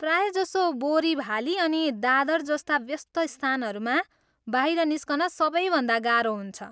प्रायःजसो बोरिभाली अनि दादर जस्ता व्यस्त स्थानहरूमा बाहिर निस्कन सबैभन्दा गाह्रो हुन्छ।